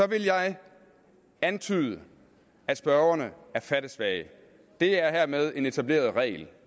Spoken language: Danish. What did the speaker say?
vil jeg antyde at spørgerne er fattesvage det er hermed en etableret regel